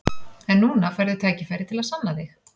En núna færðu tækifæri til að sanna þig.